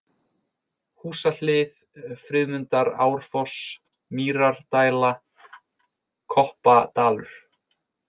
Húsahlið, Friðmundarárfoss, Mýrardæla, Koppadalur